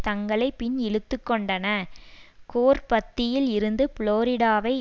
தங்களை பின் இழுத்துக்கொண்டன கோர் பத்தியில் இருந்து புளோரிடாவை